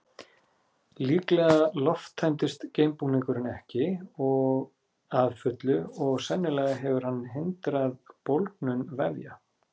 Líklega lofttæmdist geimbúningurinn ekki að fullu og sennilega hefur hann hindrað bólgnun vefja.